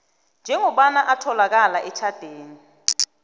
njengombana atholakala etjhatheni